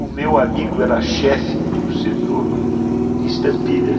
O meu amigo era chefe do setor de estampilhas.